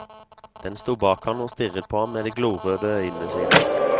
Den sto bak han og stirret på han med de glorøde øynene sine.